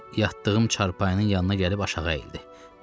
Mən yatdığım çarpayının yanına gəlib aşağı əyildi.